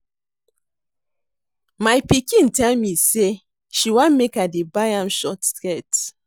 My pikin tell me say she wan make I dey buy am only short skirt